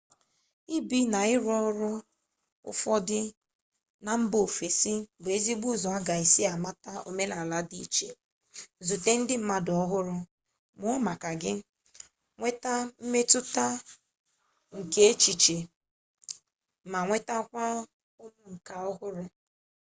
ibi na ịrụ ọrụ afọ ofufo na mba ofesi bụ ezigbo ụzọ a ga-esi mata omenala dị iche zute ndị mmadụ ọhụrụ mụọ maka gị nweta mmetụta nke echiche ma nwetakwa ụmụ nka ọhụrụ